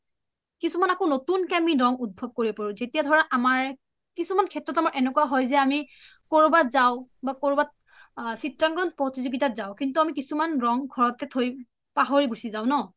কিছুমান আমি আকৌ নতুনকে ৰং উতথপ কৰিব পাৰো যেতিয়া ধৰা আমাৰ কিছুমান শেএ্ত এনেকুৱা হয় যে আমি কৰোবাট যাও বা চিএখন প্ৰতিযুগিতাত যাও কিন্তু আমি কিছুমান ৰং ঘৰতে থই পাহৰি গুছি যাও ন?